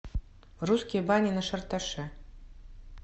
русские бани на шарташе